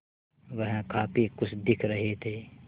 वह काफ़ी खुश दिख रहे थे